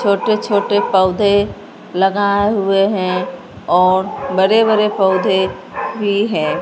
छोटे छोटे पौधे लगाए हुए हैं और बड़े बड़े पौधे भी है।